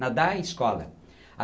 Nadar e escola.